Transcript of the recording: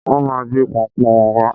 Wọn máà ń gbé pọunpọ́ún wọn wá.